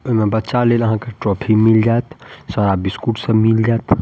ओय में बच्चा लेल आहां के टॉफी मिल जात सारा बिस्कुट सब मिल जात।